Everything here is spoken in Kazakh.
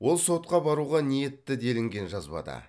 ол сотқа баруға ниетті делінген жазбада